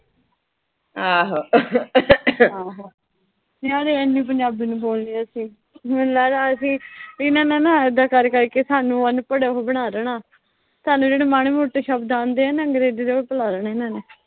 ਯਰ ਐਨੀ ਪੰਜਾਬੀ ਨੀਂ ਬੋਲਣੀ ਅਸੀਂ। ਮੈਨੂੰ ਲਗਦਾ ਅਸੀਂ ਇਨ੍ਹਾਂ ਨੇ ਨਾ ਇਦਾਂ ਕਰ ਕਰ ਕੇ ਸਾਨੂੰ ਅਨਪੜ੍ਹ, ਉਹੋ ਬਣਾ ਦੇਣਾ। ਸਾਨੂੰ ਜਿਹੜੇ ਮਾੜੇ-ਮੋਟੇ ਸ਼ਬਦ ਆਂਦੇ ਨਾ, ਅੰਗਰੇਜ਼ੀ ਦੇ, ਉਹ ਭੁਲਾ ਦੇਣੇ ਇਨ੍ਹਾਂ ਨੇ।